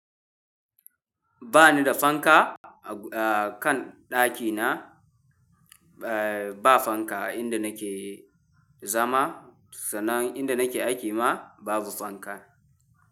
Ba ni da fanka a kan ɗakina, ba fanka inda nake zama, sannan inda nake aiki ma babu fanka.